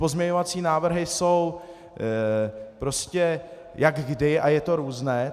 Pozměňovací návrhy jsou prostě jak kdy a je to různé.